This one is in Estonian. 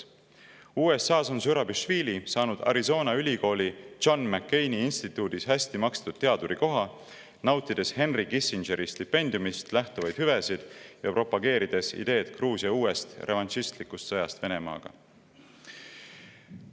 USA-s on Zurabišvili saanud Arizona Ülikooli John McCaini instituudis hästi makstud teadurikoha, nautides Henry Kissingeri stipendiumist lähtuvaid hüvesid ja propageerides ideed Gruusia uuest revanšistlikust sõjast Venemaaga.